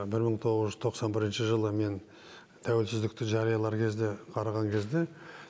бір мың тоғыз жүз тоқсан бірінші жылы мен тәуелсіздікті жариялар кезде қараған кезде